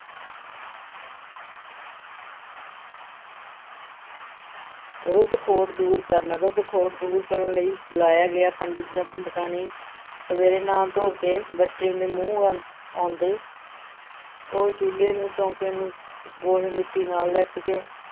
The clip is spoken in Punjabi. ਰੁੱਧ-ਖੋਟ ਦੂਰ ਕਰਨਾ, ਰੁੱਧ-ਖੋਟ ਦੂਰ ਕਰਨ ਲਈ ਬੁਲਾਇਆ ਗਿਆ ਪੰਡਿਤ ਜਾਂ ਪੰਡਿਤਾਣੀ ਸਵੇਰੇ ਨਹਾ-ਧੋ ਕੇ ਬੱਚੇ ਦੇ ਮੂੰਹ ਵੱਲ ਆਉਂਦੇ ਉਹ ਚੁੱਲੇ ਨੂੰ ਚੌਂਕੇ ਨੂੰ ਗੋਹੇ-ਮਿੱਟੀ ਨਾਲ ਲਿੱਪ ਕੇ